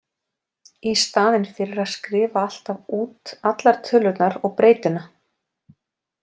Í staðinn fyrir að skrifa alltaf út allar tölurnar og breytuna.